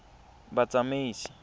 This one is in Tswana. batsamaisi